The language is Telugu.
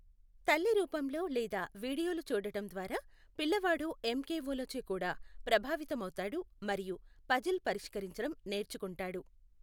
తల్లి రూపంలో లేదా వీడియోలు చూడటం ద్వారా పిల్లవాడు ఎంకెఒ లచే కూడా ప్రభావితమవుతాడు మరియు పజిల్ పరిష్కరించడం నేర్చుకుంటాడు.